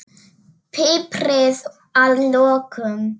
Piprið að lokum.